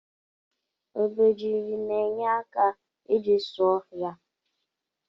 Obejiri na enye aka iji zụọ ohia.